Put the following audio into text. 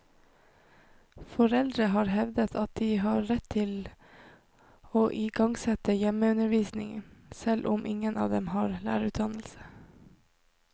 Foreldrene har hevdet at de har rett til å i gangsette hjemmeundervisning, selv om ingen av dem har lærerutdannelse.